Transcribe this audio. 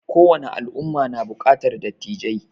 Ko wani al'umma na buƙatar dattijai